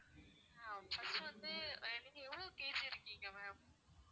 ஆஹ் first வந்து நீங்க எவ்வளோ KG இருக்கீங்க ma'am